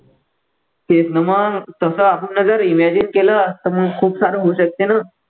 तेच ना मग तसं आपण ना जर imagine केलं तर मग खूप सारं होऊ शकते ना